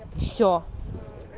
всё